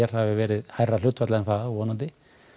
hafi verið hærra hlutfall en það og vonanndi